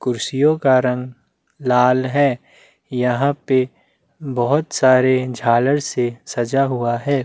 ऊपर छत पे बहोत सारे लाइटिंग सीरीज लगी हुई है।